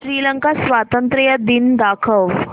श्रीलंका स्वातंत्र्य दिन दाखव